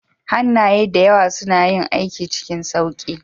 Hannaye da yawa suna yin aiki cikin sauƙi